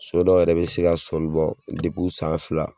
So dɔ yɛrɛ be se ka sɔli bɔ depi u san fila